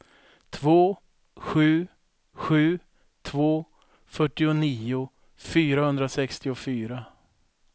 två sju sju två fyrtionio fyrahundrasextiofyra